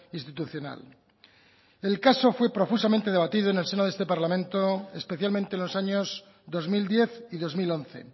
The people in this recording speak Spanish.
institucional el caso fue profusamente debatido en el seno de este parlamento especialmente los años dos mil diez y dos mil once